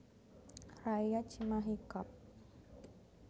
Raya Cimahi Kab